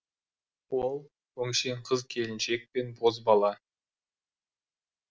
ол өңшең қыз келіншек пен бозбала